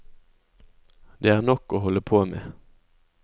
Det er nok å holde på med.